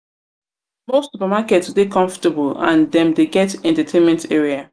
most supermarket dey comfortable and dem dey get entertainment area